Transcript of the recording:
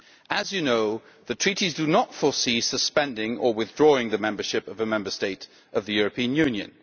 As you know, the Treaties do not foresee suspending or withdrawing the membership of a Member State of the European Union.